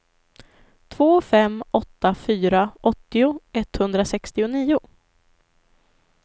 två fem åtta fyra åttio etthundrasextionio